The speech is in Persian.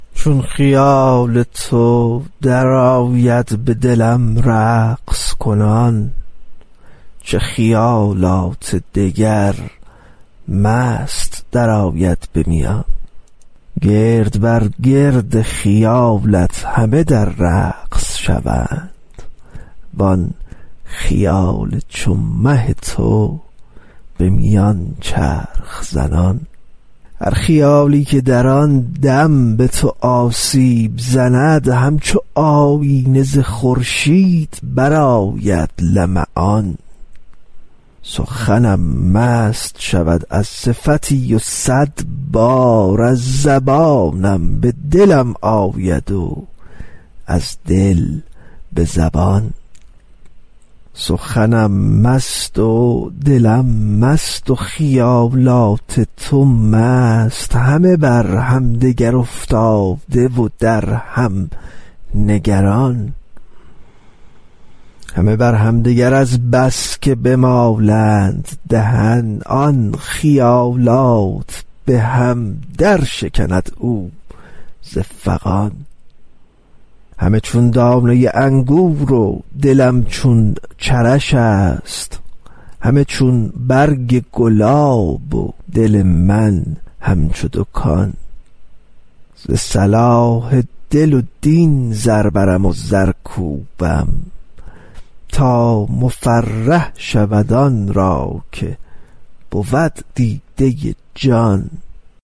چون خیال تو درآید به دلم رقص کنان چه خیالات دگر مست درآید به میان گرد بر گرد خیالش همه در رقص شوند وان خیال چو مه تو به میان چرخ زنان هر خیالی که در آن دم به تو آسیب زند همچو آیینه ز خورشید برآید لمعان سخنم مست شود از صفتی و صد بار از زبانم به دلم آید و از دل به زبان سخنم مست و دلم مست و خیالات تو مست همه بر همدگر افتاده و در هم نگران همه بر همدگر از بس که بمالند دهن آن خیالات به هم درشکند او ز فغان همه چون دانه انگور و دلم چون چرش است همه چون برگ گلاب و دل من همچو دکان ز صلاح دل و دین زر برم و زر کوبم تا مفرح شود آن را که بود دیده جان